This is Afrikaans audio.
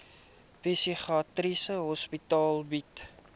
psigiatriese hospitale bied